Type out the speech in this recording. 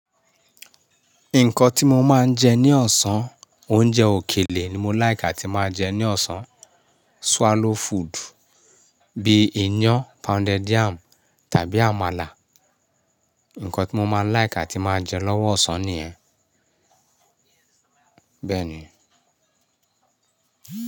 Nǹkan tí mo máa ń jẹ ní ọ̀sán, oúnjẹ òkèlè ni mo like atí máa jẹ ní ọ̀sán. Swallow food bíi iyán, pounded yam tàbí àmàlà. Nǹkan tí mo máa láìkì tí máa jẹ lọ́wọ́ ọ̀sán nìyẹn. Bẹ́ẹ̀ ni.